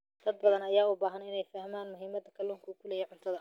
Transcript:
Dad badan ayaa u baahan inay fahmaan muhiimadda kalluunka uu ku leeyahay cuntada.